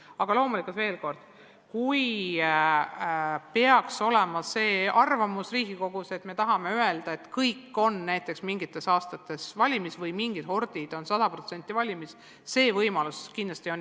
Aga loomulikult veel kord: kui Riigikogu peaks arvama, et me tahame, et kõik on näiteks mingitel aastatel valimis või mingid kohordid on 100% valimis, siis see võimalus kindlasti on.